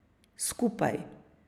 Skupaj.